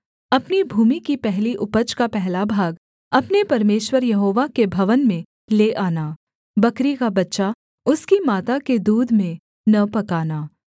अपनी भूमि की पहली उपज का पहला भाग अपने परमेश्वर यहोवा के भवन में ले आना बकरी का बच्चा उसकी माता के दूध में न पकाना